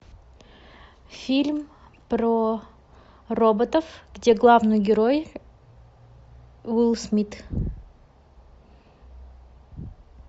фильм про роботов где главный герой уилл смит